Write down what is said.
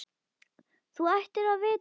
Þú ættir að vita betur!